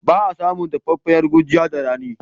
Ba a samun dafaffiyar gurjiya da rani.